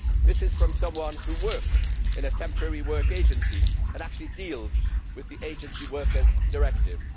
This is from someone who works in a temporary work agency and actually deals with the agency workers directive.